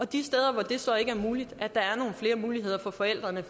de steder hvor det så ikke er muligt er nogle flere muligheder for forældrene